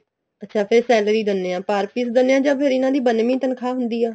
ਅੱਛਾ ਫ਼ਿਰ salary ਦਿੰਨੇ ਆ per piece ਦਿੰਨੇ ਆ ਜਾ ਇਹਨਾ ਦੀ ਫ਼ਿਰ ਬੰਨਵੀ ਤਨਖਾਹ ਹੁੰਦੀ ਹੈ